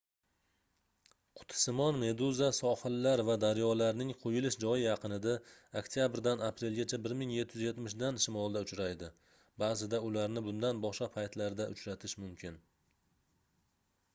qutisimon meduza sohillar va daryolarning quyilish joyi yaqinida oktabrdan aprelgacha 1770 dan shimolda uchraydi baʼzida ularni bundan boshqa paytlarda uchratish mumkin